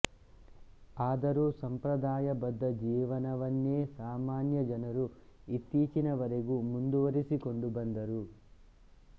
ಆದರೂ ಸಂಪ್ರದಾಯಬದ್ಧ ಜೀವನವನ್ನೇ ಸಾಮಾನ್ಯ ಜನರು ಇತ್ತೀಚಿನ ವರೆಗೂ ಮುಂದುವರಿಸಿಕೊಂಡು ಬಂದರು